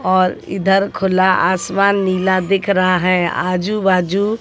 और इधर खुला आसमान नीला दिख रहा है आजू बाजू--